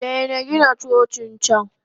Daina Gina Cocin can!